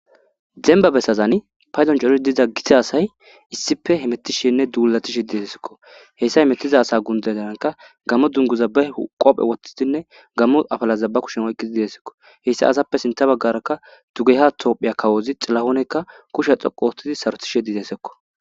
demba besazani paydon cori diza gisa asay issife hemettishenne duulatishe dezazekko heyssa hemettiza asa gundedaanka gammo dunguza be qophe wottidinne gammo afalazabba kushem oyqqizi desekko hessa asappe sinta baggaraka dugeha tophiya kawozi xillahoonekka kusha xoqu otidi sarotishe dizeezekko